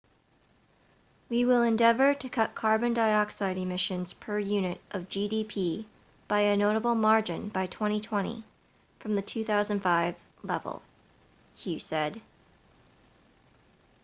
we will endeavour to cut carbon dioxide emissions per unit of gdp by a notable margin by 2020 from the 2005 level hu said